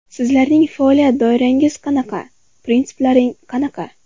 Sizlarning faoliyat doirangiz qanaqa, prinsiplaring qanaqa ?